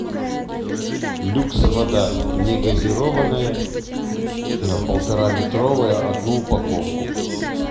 люкс вода негазированная полтора литровая одну упаковку